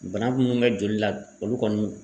Bana munnu bɛ joli la olu kɔni.